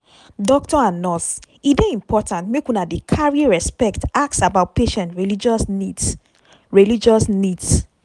doctor and nurse e dey important make una dey carry respect ask about patient religious needs. religious needs.